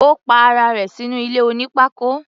Ó pa ara rẹ̀ sínú ilé oní pákó.